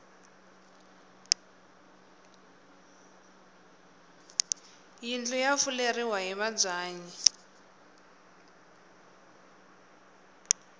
yindlu ya fuleriwa hi mabyanyi